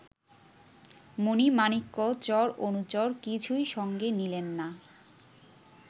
মণি-মাণিক্য চর অনুচর, কিছুই সঙ্গে নিলেন না